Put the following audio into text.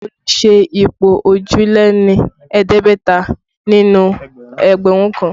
Olu ṣe ipò òjìléní-ẹ̀ẹ́dẹ́gbẹ̀ta nínú ẹgbẹ̀rún kan